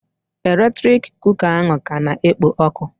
Eletrik kuka ahụ ka na-ekpo ọkụ